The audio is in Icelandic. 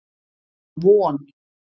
Von